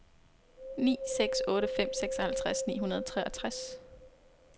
ni seks otte fem seksoghalvtreds ni hundrede og treogtres